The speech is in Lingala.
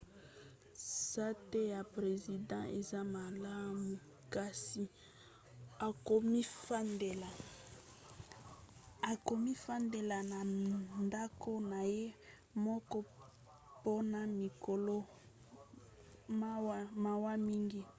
sante ya president eza malamu kasi akomifandela na ndako na ye moko mpona mikolo mawa mingi